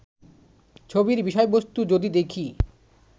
ছবির বিষয়বস্তু যদি দেখি